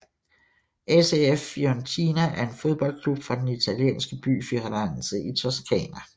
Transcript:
ACF Fiorentina er en fodboldklub fra den italienske by Firenze i Toscana